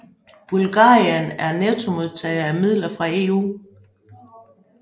Bulgarien er en nettomodtager af midler fra EU